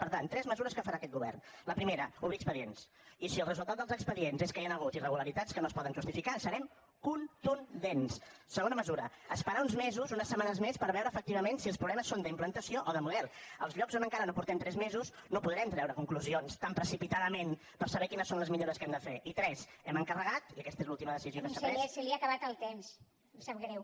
per tant tres mesures que farà aquest govern la primera obrir expedients i si el resultat dels expedients és que hi ha hagut irregularitats que no es poden justificar serem efectivament si els problemes són d’implantació o de model als llocs on encara no portem tres mesos no podrem treure conclusions tan precipitadament per saber quines són les millores que hem de fer i tres hem encarregat i aquesta és l’última decisió que s’ha pres